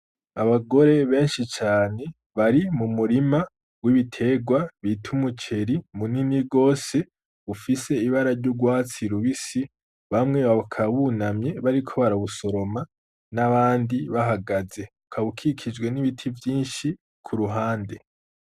Abagore benshi cane bari mu murima w'ibiterwa bita umuceri munini rwose ufise ibara ry'urwatsi rubisi bamwe bakabunamye bariko barabusoroma n'abandi bahagaze ukabukikijwe n'ibiti vyinshi ku ruhande.